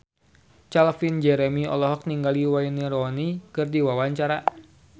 Calvin Jeremy olohok ningali Wayne Rooney keur diwawancara